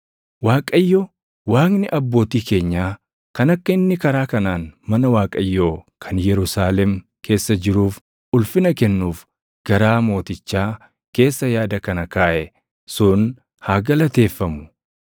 Waaqayyo Waaqni abbootii keenyaa kan akka inni karaa kanaan mana Waaqayyoo kan Yerusaalem keessa jiruuf ulfina kennuuf garaa mootichaa keessa yaada kana kaaʼe sun haa galateeffamu;